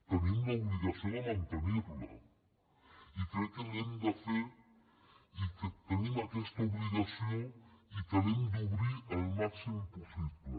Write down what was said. tenim l’obligació de mantenirla i crec que l’hem de fer i que tenim aquesta obligació i que l’hem d’obrir al màxim possible